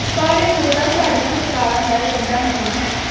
ਪਰ ਇਹ ਮੁੱਦਾ ਸਾਡੀਆਂ ਸਰਕਾਰਾਂ ਦਾ ਏਜੰਡਾ ਨਹੀਂ ਹੈ